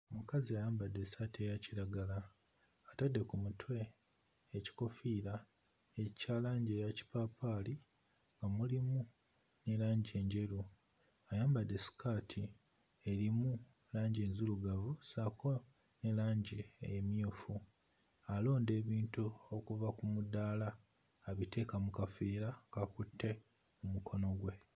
Mukazi ayambadde essaati eya kiragala atadde ku mutwe ekikoofiira ekya langi eya kipaapaali nga mulimu ne langi enjeru, ayambadde ssikaati erimu langi enzirugavu ssaako ne langi emmyufu alonda ebintu okuva ku mudaala abiteera ku kaveera k'akutte mmukono gwe.